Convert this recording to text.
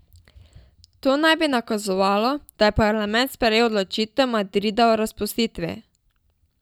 To naj bi nakazovalo, da je parlament sprejel odločitev Madrida o razpustitvi.